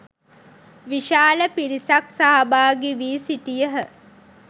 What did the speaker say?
විශාල පිරිසක් සහභාගී වී සිටියහ